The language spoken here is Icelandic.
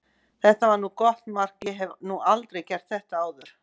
Þetta var gott mark, ég hef nú aldrei gert þetta áður.